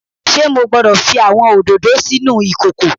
Ṣe Mo gbọdọ fi awọn ododo sinu ikoko?